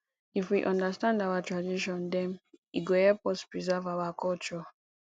if we understand our tradition dem e go help us preserve our culture